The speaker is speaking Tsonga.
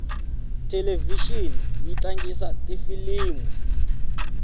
thelevixini yi tlangisa tifilimu